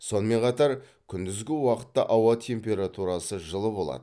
сонымен қатар күндізгі уақытта ауа температурасы жылы болады